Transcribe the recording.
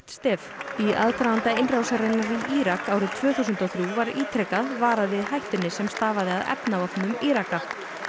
stef í aðdraganda innrásarinnar í Írak árið tvö þúsund og þrjú var ítrekað varað við hættunni sem stafaði af efnavopnum Íraka